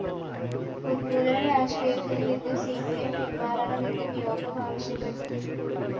ഉന്മൂലന രാഷ്ട്രീയത്തില്‍നിന്ന് C P M പിന്‍മാറണമെന്നും യോഗം ആവശ്യപ്പെട്ടു